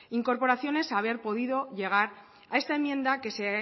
incorporaciones haber podido llegar a esta enmienda que